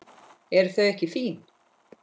Eru þau ekki fín?